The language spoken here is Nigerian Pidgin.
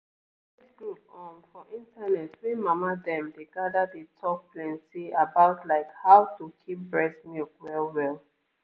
e get this group um for internet wey mama dem dey gather dey talk plenty about like how to keep breast milk well well.